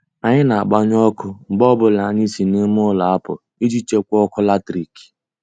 Anyị na-agbanyụ ọkụ mgbe ọbụla anyị si nime ụlọ apụ iji chekwaa ọkụ latrik.